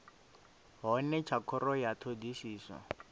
hone tsha khoro ya thodisiso